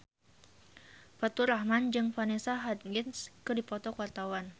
Faturrahman jeung Vanessa Hudgens keur dipoto ku wartawan